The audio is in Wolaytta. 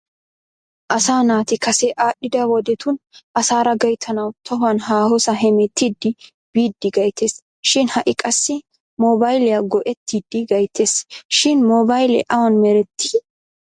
Asaa naati Kase aadhdhida wodetun asaara gayittanawu tohuwan haahosaa hemettiddi biiddi gayttes shin ha'i qassi moobayiliya go'ettidi gayittes shin moobayilee awan meretti?